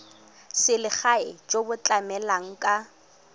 selegae jo bo tlamelang ka